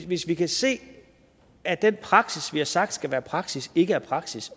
hvis vi kan se at den praksis vi har sagt skal være praksis ikke er praksis